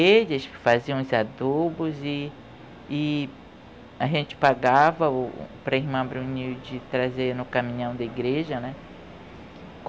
Eles que faziam os adubos e e a gente pagava o... para a irmã Brunilde trazer no caminhão da igreja, né?